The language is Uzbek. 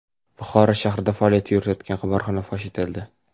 Buxoro shahrida faoliyat yuritgan qimorxona fosh etildi.